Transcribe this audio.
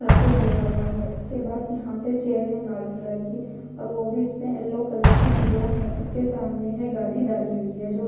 sir पे लिया हुआ है उसके बाद यहां पे चेयर है लाल कलर की और वो भी इसमें येलो कलर की पिल्लो हैं उसके सामने है गादी डाली हुई है जो--